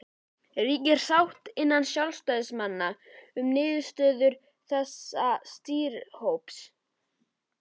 Helga: Ríkir sátt innan sjálfstæðismanna um niðurstöðu þessa stýrihóps?